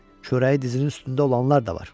Çörəyi dizinin üstündə olanlar da var.